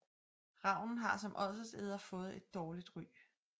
Ravnen har som ådselæder fået et dårligt ry